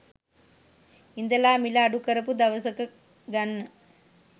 ඉඳලා මිල අඩු කරපු දවසක ගන්න.